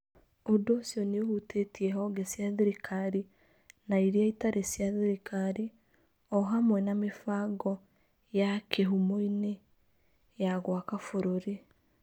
Ũndũ ũcio nĩ ũhutĩtie honge cia thirikari na iria itarĩ cia thirikari, o hamwe na mĩbango ya ya kīhumo-inĩ ya gwaka bũrũri.